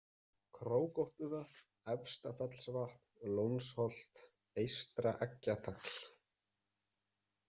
Krókóttuvötn, Efstafellsvatn, Lónsholt, Eystra-Eggjatagl